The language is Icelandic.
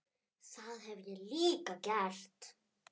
Það hef ég líka gert.